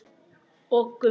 Og Gumma.